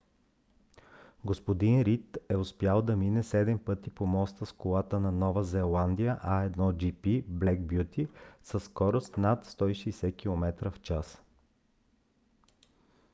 г-н рийд е успял да мине седем пъти по моста с колата на нова зеландия a1gp black beauty със скорост над 160 км/ч